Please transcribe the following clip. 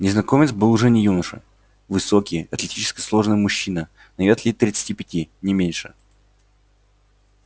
незнакомец был уже не юноша высокий атлетически сложенный мужчина на вид лет тридцати пяти не меньше